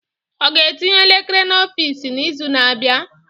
O ga-etinye elekere n'ọfịs n'izu na-abịa?